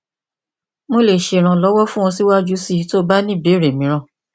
mo le ṣe iranlọwọ fun ọ siwaju sii ti o ba ni ibeere miiran